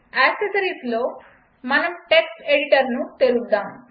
యాక్సెసరీస్లో మనం టెక్స్ట్ ఎడిటర్ను తెరుద్దాం